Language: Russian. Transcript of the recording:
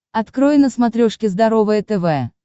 открой на смотрешке здоровое тв